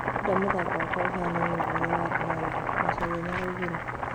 "Ndĩrenda mũthako wakwa ũhanane na ũrĩa wa Ronado," Macharia nĩaraugire.